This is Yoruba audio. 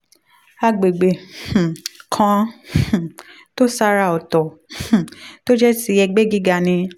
agbegbe um kan um tó ṣàrà ọ̀tọ̀ um tó jẹ́ ti ẹgbẹ́ gíga ni